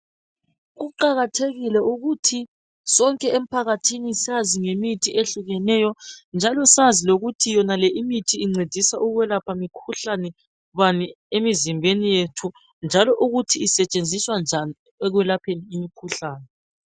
Kuqakathekile ukuthi sonke emphakathini sazi ngemithi ehlukeneyo njalo sazi lokuthi imithi le incedisa ukwelapha mikhuhlane bani emzimbeni yethu njalo ukuthi isentshenziswa njani ekwelapheni imikhuhlane